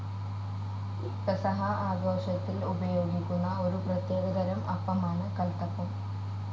പെസഹാ ആഘോഷത്തിൽ ഉപയോഗിക്കുന്ന ഒരു പ്രത്യേകതരം അപ്പമാണ് കൽത്തപ്പം.